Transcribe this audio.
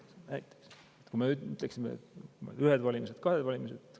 Kui me ütleksime, et ühtedel valimistel või kahtedel valimistel.